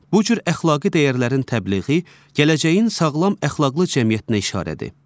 Bu cür əxlaqi dəyərlərin təbliği gələcəyin sağlam əxlaqlı cəmiyyətinə işarədir.